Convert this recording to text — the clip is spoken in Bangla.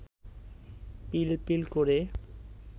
পিলপিল করে